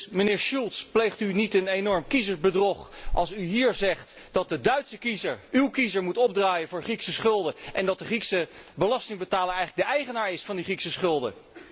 Dus, meneer Schulz, pleegt u niet een enorm kiezersbedrog als u hier zegt dat de Duitse kiezer, uw kiezer, moet opdraaien voor de Griekse schulden, en dat de Griekse belastingbetaler eigenlijk de eigenaar is van die Griekse schulden?